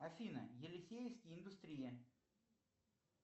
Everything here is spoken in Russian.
афина елисеевский индустрия